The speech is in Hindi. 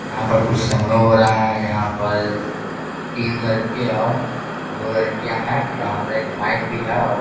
यहाँ पर कुछ समरोह हो रहा है यहां पर तीन लड़के और दो लड़कियां है यहाँ पर एक माइक भी है औ --